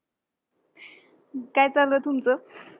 काय चालूये तुमचं?